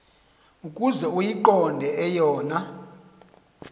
ukuze uyiqonde eyona